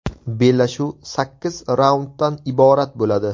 Bellashuv sakkiz raunddan iborat bo‘ladi.